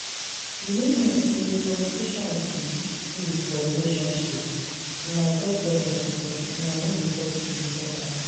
You no know say communication be key for relationship? Una get problem because una no dey talk to each other